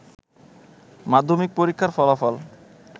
মাধ্যমিক পরীক্ষার ফলাফল